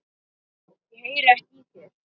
Ég heyri ekki í þér.